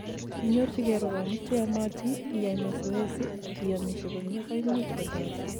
inyorjigei rwonik cheyomotin, iyai masoezi, ak iyomisie komie koimuch kotoret